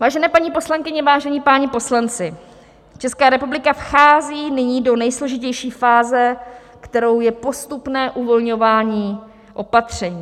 Vážené paní poslankyně, vážení páni poslanci, Česká republika vchází nyní do nejsložitější fáze, kterou je postupné uvolňování opatření.